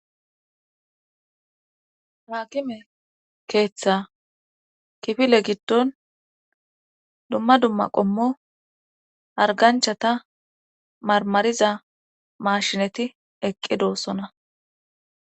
haakime keeththa kifile giddon dumma dumma qommo harganchata marmariza mashinati eqqi doossona